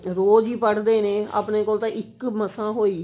ਰੋਜ ਹੀ ਪੜਦੇ ਨੇ ਆਪਣੇ ਕੋਲ ਤਾਂ ਇੱਕ ਮਸਾਂ ਹੋਈ